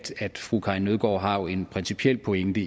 at fru karin nødgaard har en principiel pointe